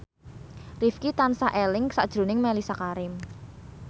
Rifqi tansah eling sakjroning Mellisa Karim